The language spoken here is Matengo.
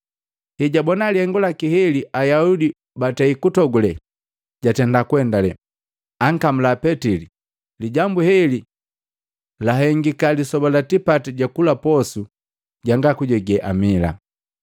Hejwabona lihengu laki heli Ayaudi batei kutogule, jatenda kuendale, ankamula Petili. Lijambu heli lahengika lisoba la tipati jukula mabumunda ganga kujege amila.